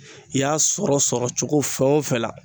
I y'a sɔrɔ sɔrɔ cogo fɛn o fɛn la